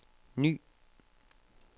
ny